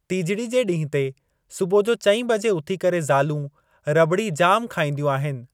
टिजड़ी जे ॾींहुं ते सुबुह जो चईं बजे उथी करे ज़ालूं रॿड़ी जाम खाईंदियूं आहिनि।